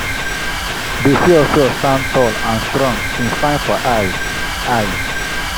a dog bark for far place as we waka comot for the last ridge.